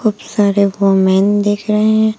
खूब सारे वूमेन दिख रहे हैं।